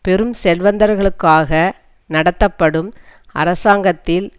பெரும் செல்வந்தர்களுக்காக நடத்தப்படும் அரசாங்கத்தில்